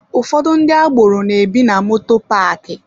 Ụfọdụ ndị agboro na-ebi na moto paaki.